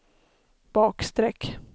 bakstreck